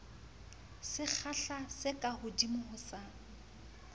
sekgahla se kahodimo ho sa